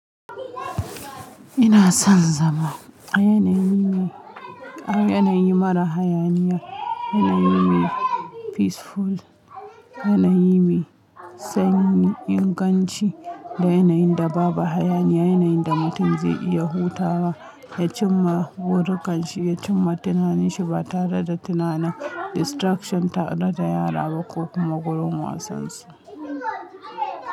Ina son zama yanayi mara hayaniya, yanayi peaceful, yanayi mai sanyi, inganci da yanayin da babu hayaniya, yanayin da mutum zai iya hutawa, ya cimma buri kanshi, ya cimma tunananshi ba tare da tunanin distraction tare da yara ba ko kuma gurin wasan su.